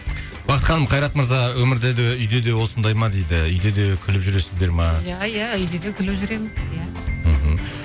бақыт ханым қайрат мырза өмірде де үйде де осындай ма дейді үйде де күліп жүресіздер ме иә иә үйде де күліп жүреміз иә мхм